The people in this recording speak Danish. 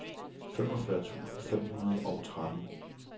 femogfyrre tusind fem hundrede og tretten